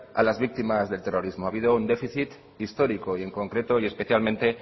a las víctimas del terrorismo ha habido un déficit histórico y en concreto y especialmente